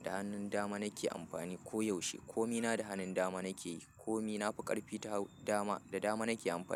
da hannun dama nake amfani koyaushe. Komi na da hanun dama nake yi, komi na fi ƙarfi ta dama, da dama nake amfani.